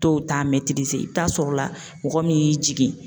Dɔw ta i bi t'a sɔrɔla mɔgɔ min y'i jigi.